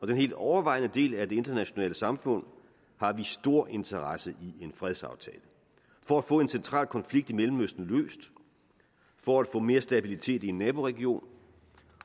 den helt overvejende del af det internationale samfund har vi stor interesse i en fredsaftale for at få en central konflikt i mellemøsten løst for at få mere stabilitet i en naboregion